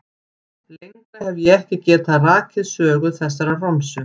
Lengra hef ég ekki getað rakið sögu þessarar romsu.